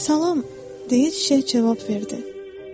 Salam, dedi çiçək cavab verdi.